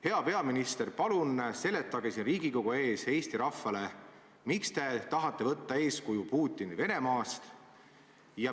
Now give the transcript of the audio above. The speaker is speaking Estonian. Hea peaminister, palun seletage siin Riigikogu ees Eesti rahvale, miks te tahate võtta eeskuju Putini Venemaast.